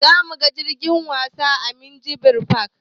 Zamuga jirgin wasa a minjibir fak